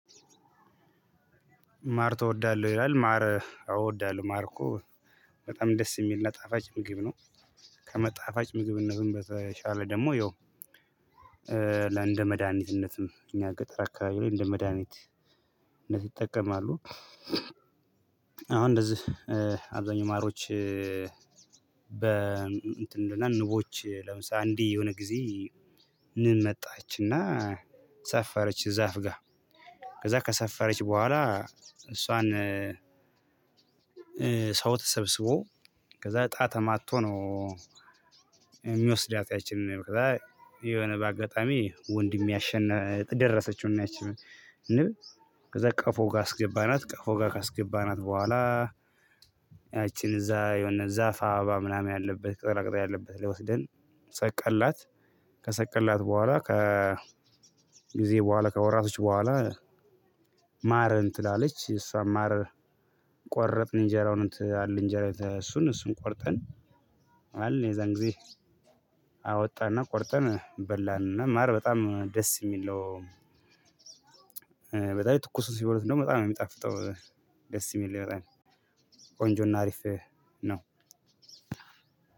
ማር ትወዳለሁ ይላል ማር እወዳለሁ ማር እኮ በጣም ደስ የሚል ጣፋጭ ምግብ ነው። ከጣፋጭ ምግብነትም በተሻለ ደግሞ ያው ለእንደ መድሃኒትነትም እኛ ገጠር አካባቢ ላይ እንደ መድሃኒትነት ይጠቀማሉ። አሁን እንደዚህ አብዛኛው ማሮች በ እንትን እና ንቦች ለምሳሌ አንዲ የሆነ ጊዜ ንን መጣችና ሰፈረች ዛፍ ጋር ከዛ ከሰፈረች በኋላ እሷን ሰው ተሰብስቦ ከዛ እጣ ተማቶ ነው። የሚወስዳት ያቺን ንብ ከዛ የሆነ በአጋጣሚ ወንድሜ አሸንፍ ደረሰችውና ከዛ ቀፎ ጋር አስገባናት ቀፎ ጋር ካስገባናት በኋላ። ያቺን እዛ የሆነ ዛፍ አባባ ምናምን ያለበት ቅጠላቅጠል ያለበት ላይ ወስድን ሰቀለናት ከሰቀልናት በኋላ ከ ጊዜ በኋላ ከወራቶች በኋላ። ማርን ጥላለች የሳን ማር ቆረጥን እንጀራውን እንጀራ እሱን እሱን ቆርጠን አልን የዛን ጊዜ አወጣና ቆርጠን በላንና ማር በጣም ደስ የሚል ነው። በዛላይ ትኩሱን ሲበሉት ደሞ በጣም ነው የሚጣፍጠው ደስ የሚል ነው በጣም ቆንጆና አሪፍ ነው።